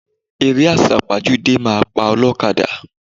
Eré àsápajúdé máa pa ọlọ́kadà.